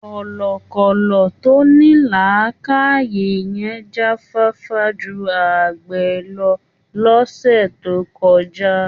Kọ̀lọ̀kọ̀lọ̀ tó ní làákààyè yẹn jáfáfá ju àgbẹ̀ lọ lọ́sẹ̀ tó kọjá.